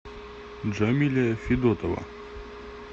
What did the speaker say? джамиля федотова